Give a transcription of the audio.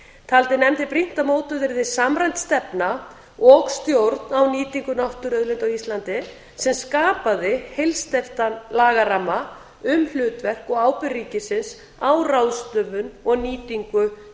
taldi nefndin brýnt að mótuð yrði samræmd stefna og stjórn á nýtingu náttúruauðlinda á íslandi sem skapaði heilsteyptan lagaramma um hlutverk og ábyrgð ríkisins á ráðstöfun og nýtingu